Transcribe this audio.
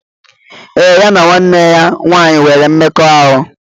Ee, ya na nwanne ya nwanyị nwere mmekọahụ.